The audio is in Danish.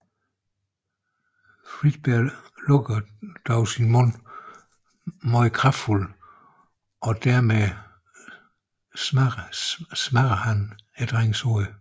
Fredbear lukker dog sin mund meget kraftfuldt og dermed smadre drengens hoved